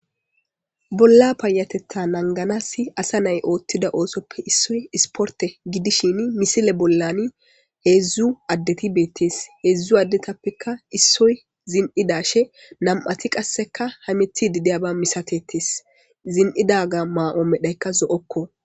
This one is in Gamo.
Bola paytetha nanganas asa na'ay otida oosope issoy isporte gidishin missile bolan hedzdzu addeti betes hedzdzu addetapeka issoy zin'idashe nam'ati qaseka hametidi diyaba misatetes zin'idaga ma'o medhayka zo'oko.